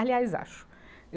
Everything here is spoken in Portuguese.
Aliás, acho.